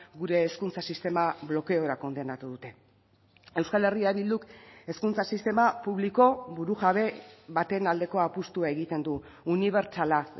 gure hezkuntza sistema blokeora kondenatu dute euskal herria bilduk hezkuntza sistema publiko burujabe baten aldeko apustua egiten du unibertsala